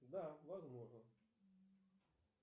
да возможно